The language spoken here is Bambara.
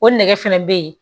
O nɛgɛ fɛnɛ be yen